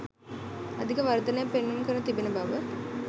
අධික වර්ධනයක් පෙන්නුම් කර තිබෙන බව